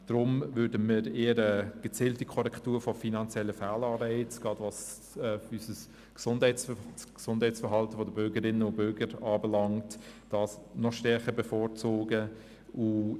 Deshalb würden wir eher eine gezielte Korrektur finanzieller Fehlanreize, gerade was das Gesundheitsverhalten der Bürgerinnen und Bürger anbelangt, bevorzugen.